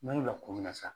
N'a y'o lakolon san